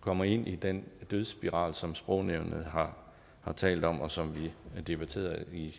kommer ind i den dødsspiral som sprognævnet har talt om og som vi debatterede